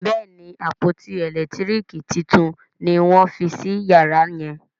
Béèni àpótí elekitiriki títún ní wón fí sí yàrá yen.